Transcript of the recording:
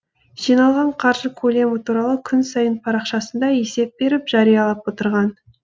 жиналған қаржы көлемі туралы күн сайын парақшасында есеп беріп жариялап отырған